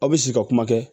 Aw bɛ sigi ka kuma kɛ